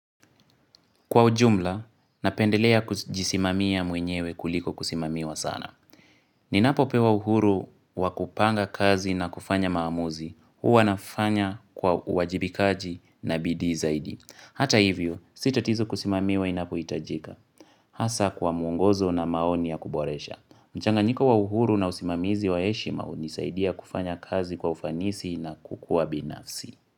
Kwa ujumla, napendelea kujisimamia mwenyewe kuliko kusimamiwa sana. Ninapopewa uhuru wa kupanga kazi na kufanya maamuzi, huwa nafanya kwa uwajibikaji na bidii zaidi. Hata hivyo, si tatizo kusimamiwa inapohitajika. Hasa kwa muongozo na maoni ya kuboresha. Mchanganyiko wa uhuru na usimamizi wa heshima hunisaidia kufanya kazi kwa ufanisi na kukua binafsi.